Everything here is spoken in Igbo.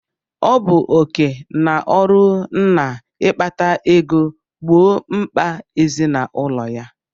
Ọ bụ oké na ọrụ nna ịkpata ego gbọọ mkpà ezinaụlọ ya.